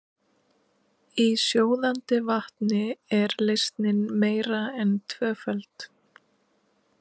Í sjóðandi vatni er leysnin meira en tvöföld.